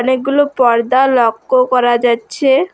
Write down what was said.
অনেকগুলো পর্দা লক্ক করা যাচ্ছে।